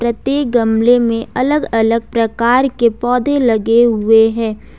प्रत्येक गमले में अलग अलग प्रकार के पौधे लगे हुए हैं।